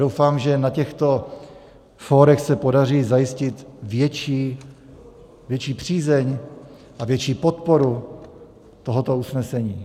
Doufám, že na těchto fórech se podaří zajistit větší přízeň a větší podporu tohoto usnesení.